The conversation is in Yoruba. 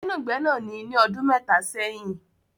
Gbẹ́nagbẹ́nà ni ní ọdún mẹ́ta sẹ́yìn